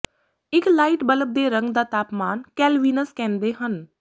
ਇੱਕ light bulb ਦੇ ਰੰਗ ਦਾ ਤਾਪਮਾਨ ਕੈਲਵਿਨਸ ਕਹਿੰਦੇ ਹਨ